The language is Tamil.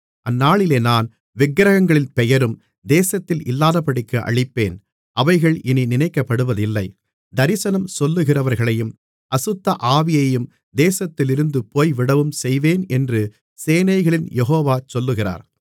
அந்நாளிலே நான் விக்கிரகங்களின் பெயரும் தேசத்தில் இல்லாதபடிக்கு அழிப்பேன் அவைகள் இனி நினைக்கப்படுவதில்லை தரிசனம் சொல்லுகிறவர்களையும் அசுத்த ஆவியையும் தேசத்திலிருந்து போய்விடவும் செய்வேன் என்று சேனைகளின் யெகோவா சொல்லுகிறார்